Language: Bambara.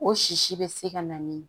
O sisi bɛ se ka na ni